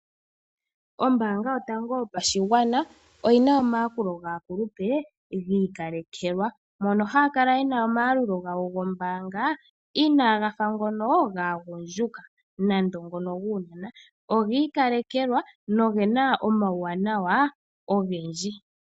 Ombaanga yotango yopashigwana oyina omayakulo gaakulupe gi ikalekelwa mono haya kala yena omayalulo gawo gombaanga inaga fa ngono gaagundjuka nenge guunona, ogi ikalekelwa nogena omawuwanawa ogendji.